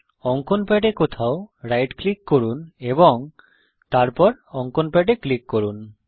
অঙ্কন প্যাডে কোথাও রাইট ক্লিক করুন এবং তারপর অঙ্কন প্যাডে ক্লিক করুন